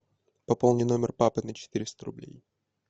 пополни номер папы на четыреста рублей